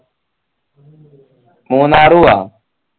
Munnar പൂആ